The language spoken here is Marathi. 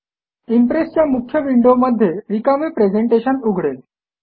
इम्प्रेस च्या मुख्य विंडो मध्ये रिकामे प्रेझेंटेशन उघडेल